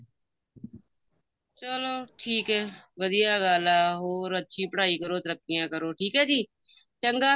ਚਲੋ ਠੀਕ ਐ ਵਧੀਆਂ ਗੱਲ ਐ ਹੋਰ ਅੱਛੀ ਪੜ੍ਹਾਈ ਕਰੋ ਤਰੱਕੀਆਂ ਕਰੋ ਠੀਕ ਐ ਜੀ ਚੰਗਾ